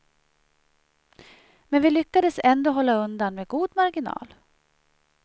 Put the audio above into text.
Men vi lyckades ändå hålla undan med god marginal.